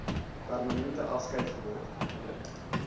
permanente afskeid geword